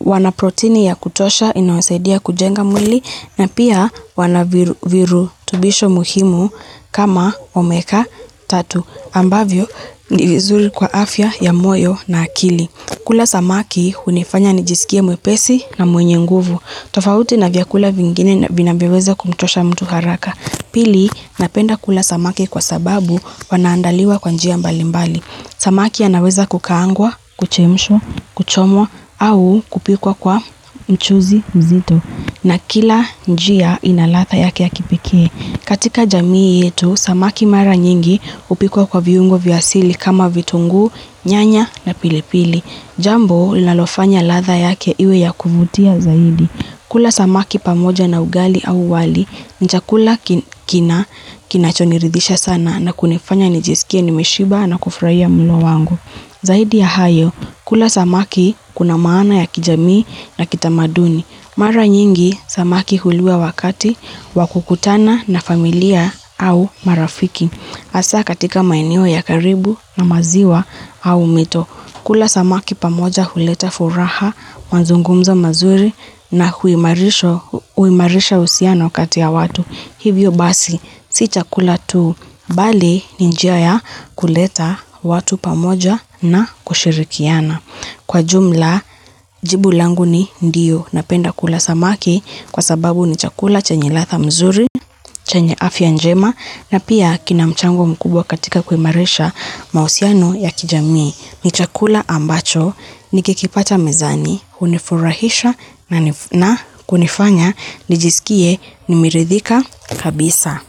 Wana proteini ya kutosha inawesaidia kujenga mwili, na pia wanavirutubisho muhimu kama omega 3. Ambavyo, ni vizuri kwa afya ya moyo na akili. Kula samaki unifanya nijisikia mwepesi na mwenye nguvu. Tofauti na vyakula vingine na binabiweza kumtosha mtu haraka. Pili napenda kula samaki kwa sababu wanaandaliwa kwa njia mbali mbali. Samaki anaweza kukaangwa, kuchemshwa, kuchomwa au kupikwa kwa mchuzi mzito na kila njia ina latha yake ya kipikie. Katika jamii yetu, samaki mara nyingi upikwa kwa viungo vya asili kama vitungu, nyanya na pili pili. Jambo, lonalofanya latha yake iwe ya kuvutia zaidi. Kula samaki pamoja na ugali au wali, ni chakula kina, kinacho niridhisha sana na kunifanya nijisikia nimeshiba na kufurahia mlo wangu. Zaidi ya hayo, kula samaki kuna maana ya kijamii na kitamaduni. Mara nyingi samaki huliwa wakati wa kukutana na familia au marafiki. Asa katika maeneo ya karibu na maziwa au mito. Kula samaki pamoja huleta furaha, mazungumzo mazuri na huimarisha usiano katia watu. Hivyo basi, si chakula tu, bali ni njia ya kuleta watu pamoja na kushirikiana. Kwa jumla, jibu langu ni ndiyo napenda kula samaki kwa sababu ni chakula chenye latha mzuri, chenye afya njema na pia kina mchangu mkubwa katika kwemaresha mausiano ya kijami. Ni chakula ambacho, nikikipata mezani, hunifurahisha na kunifanya, lijisikie, nimeridhika kabisa.